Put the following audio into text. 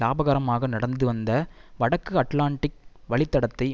லாபகரமாக நடந்து வந்த வடக்கு அட்லாண்டிக் வழித்தடத்தை